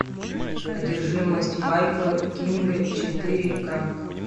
одержимость майкла кинга четыре ка